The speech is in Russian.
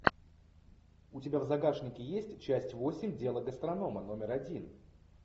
у тебя в загашнике есть часть восемь дело гастронома номер один